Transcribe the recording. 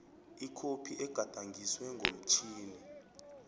ikhophi egadangiswe ngomtjhini